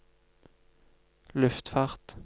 luftfart